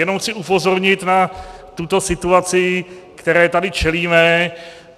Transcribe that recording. Jenom chci upozornit na tuto situaci, které tady čelíme.